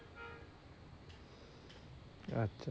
আচ্ছা,